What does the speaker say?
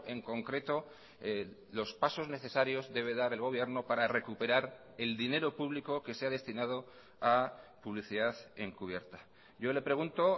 en concreto los pasos necesarios debe dar el gobierno para recuperar el dinero público que se ha destinado a publicidad encubierta yo le pregunto